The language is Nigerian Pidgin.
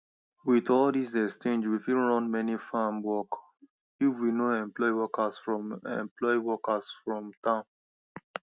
with all this exchange we fit run many farm work if we no employ workers from employ workers from town